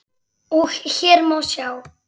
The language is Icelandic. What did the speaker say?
og hér má sjá